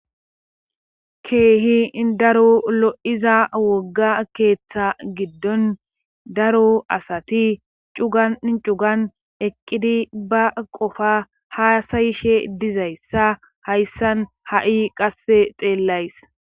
keehi daro lo7iza wogga keeththa giddon daro asati cua cugan eqqidi ba qofa haasayishe dizayssa hayssan ha7i qasse xeellays